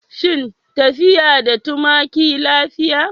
Shin tafiya da tumaki lafiya?